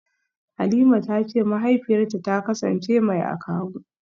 Halima tace mahaifiyarta ta kasance mai akawu.